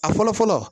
A fɔlɔ fɔlɔ